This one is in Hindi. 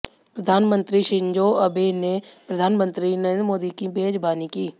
प्रधानमंत्री शिंजो अबे ने प्रधानमंत्री नरेंद्र मोदी की मेजबानी की